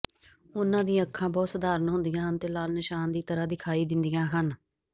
ਉਹਨਾਂ ਦੀਆਂ ਅੱਖਾਂ ਬਹੁਤ ਸਧਾਰਨ ਹੁੰਦੀਆਂ ਹਨ ਅਤੇ ਲਾਲ ਨਿਸ਼ਾਨ ਦੀ ਤਰ੍ਹਾਂ ਦਿਖਾਈ ਦਿੰਦੀਆਂ ਹਨ